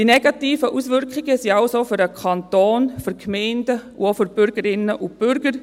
Die negativen Auswirkungen betreffen also den Kanton, die Gemeinden und auch die Bürgerinnen und Bürger.